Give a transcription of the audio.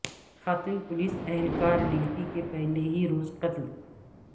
خاتون پولیس اہلکار ڈیوٹی کے پہلے ہی روز قتل